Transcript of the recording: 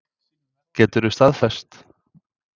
Geturðu staðfest?